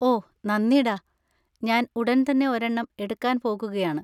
ഓ, നന്ദി ഡാ, ഞാൻ ഉടൻ തന്നെ ഒരെണ്ണം എടുക്കാൻ പോകുകയാണ്.